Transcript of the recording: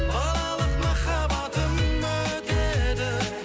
балалық махаббатым өтеді